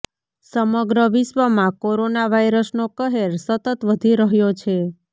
સમગ્ર વિશ્વમાં કોરોના વાઈરસનો કહેર સતત વધી રહ્યો છે